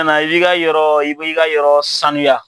i bi ka yɔrɔ i bi ka yɔrɔ saniya.